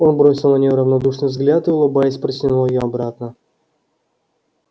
он бросил на нее равнодушный взгляд и улыбаясь протянул её обратно